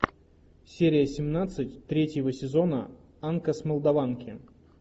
серия семнадцать третьего сезона анка с молдаванки